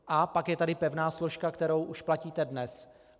A pak je tady pevná složka, kterou už platíte dnes.